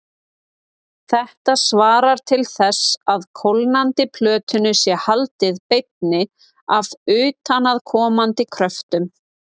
Hún var komin úr öllu nema örmjóum, svörtum nærbuxum og veifaði til braggans öðru sinni.